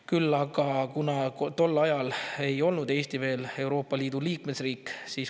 Küll aga ei olnud Eesti tol ajal veel Euroopa Liidu liikmesriik.